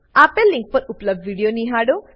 આપેલ લીંક પર ઉપલબ્ધ વિડીયો નિહાળો